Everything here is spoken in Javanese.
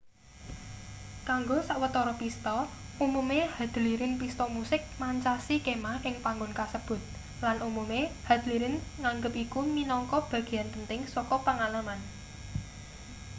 kanggo sawetara pista umume hadlirin pista musik mancasi kemah ing panggon kasebut lan umume hadlirin nganggep iku minangka bagean penting saka pangalaman